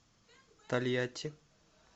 тольятти